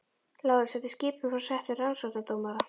LÁRUS: Þetta er skipun frá settum rannsóknardómara.